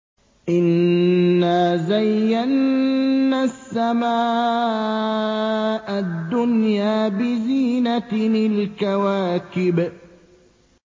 إِنَّا زَيَّنَّا السَّمَاءَ الدُّنْيَا بِزِينَةٍ الْكَوَاكِبِ